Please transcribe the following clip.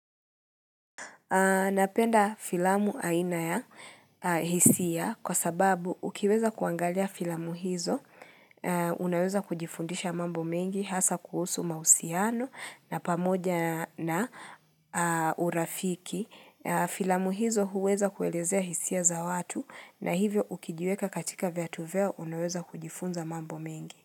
Napenda filamu aina ya hisia kwa sababu ukiweza kuangalia filamu hizo, unaweza kujifundisha mambo mengi hasa kuhusu mahusiano na pamoja na urafiki. Filamu hizo huweza kuelezea hisia za watu na hivyo ukijiweka katika viatu vyao unaweza kujifunza mambo mengi.